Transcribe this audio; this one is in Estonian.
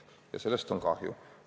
Ja sellest on kahju.